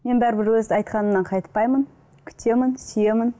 мен бәрібір өз айтқанымнан қайтпаймын күтемін сүйемін